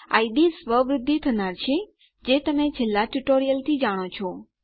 ID સ્વવૃદ્ધિ થનાર છે જે તમે છેલ્લા ટ્યુટોરીયલથી જાણો છો